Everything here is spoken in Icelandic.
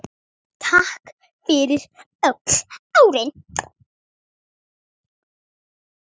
Takk fyrir öll árin.